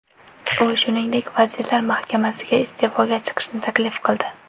U, shuningdek, Vazirlar Mahkamasiga iste’foga chiqishni taklif qildi .